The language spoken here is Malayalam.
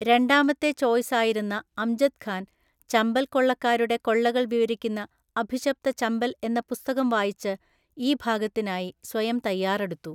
രണ്ടാമത്തെ ചോയ്സായിരുന്ന അംജദ് ഖാൻ, ചമ്പൽ കൊള്ളക്കാരുടെ കൊള്ളകൾ വിവരിക്കുന്ന അഭിശപ്ത ചമ്പൽ എന്ന പുസ്തകം വായിച്ച് ഈ ഭാഗത്തിനായി സ്വയം തയ്യാറെടുത്തു.